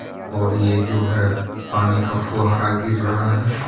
और ये जो है पानी का फुहारा गिर रहा है.